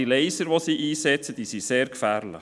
Die Laser, welche sie einsetzen, sind sehr gefährlich.